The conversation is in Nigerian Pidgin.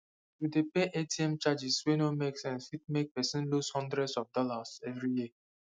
to dey pay atm charges wey no make sense fit make person loose hundreds of dollars every year